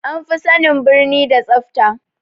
An fi sanin birni da tsafa